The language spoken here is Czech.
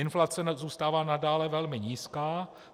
Inflace zůstává nadále velmi nízká.